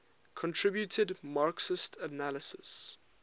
contributed marxist analyses